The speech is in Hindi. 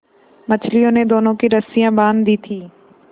मछलियों ने दोनों की रस्सियाँ बाँध दी थीं